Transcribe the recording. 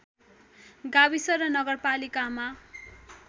गाविस र नगरपालिकामा